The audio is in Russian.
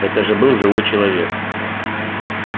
это же был живой человек